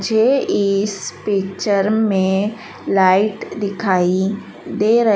मुझे इस पिक्चर में लाईट दिखाई दे र--